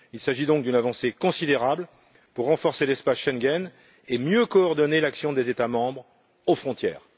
Il s'agit donc d'une avancée considérable pour renforcer l'espace Schengen et mieux coordonner l'action des États membres aux frontières.